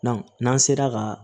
n'an sera ka